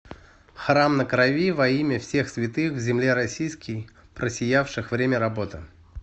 храм на крови во имя всех святых в земле российской просиявших время работы